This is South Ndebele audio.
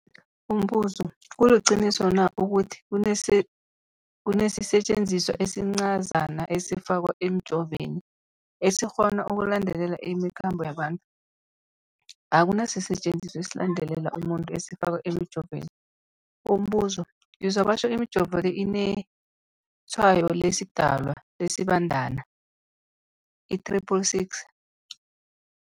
Umbuzo, kuliqiniso na ukuthi kunesisetjenziswa esincazana esifakwa emijovweni, esikghona ukulandelela imikhambo yabantu? Akuna sisetjenziswa esilandelela umuntu esifakwe emijoveni. Umbuzo, ngizwa batjho imijovo le inetshayo lesiDalwa, lesiBandana i-666.